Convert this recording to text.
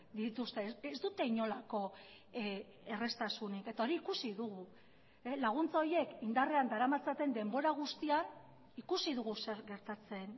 dituzte ez dute inolako erraztasunik eta hori ikusi dugu laguntza horiek indarrean daramatzaten denbora guztian ikusi dugu zer gertatzen